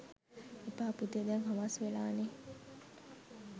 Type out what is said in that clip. එපා පුතේ දැන් හවස් වෙලානෙ